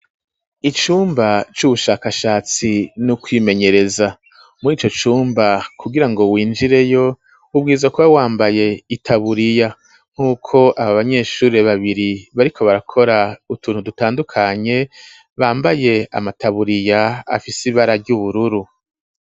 Icumba c'ubushakashatsi no kwimenyereza muri ico cumba kugira ngo winjireyo ubwiza kuba wambaye itaburiya nk'uko aba banyeshure babiri bariko barakora utuntu dutandukanye bambaye amataburiya afise ibara ryubururu.